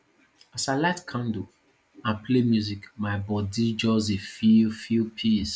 as i light candle and play music my body just dey feel feel peace